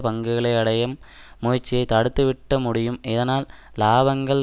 பங்குகளை அடையும் முயற்சியை தடுத்துவிட்ட முடியும் இதனால் இலாபங்கள்